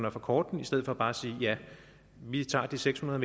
at forkorte den i stedet for bare at sige vi tager de seks hundrede